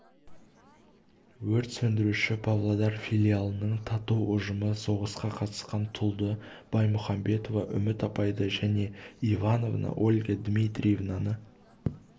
өрт сөндіруші павлодар филиалының тату ұжымы соғысқа қатысқан тұлды баймұхамбетова үміт апайды және иванова ольга дмитриевнаны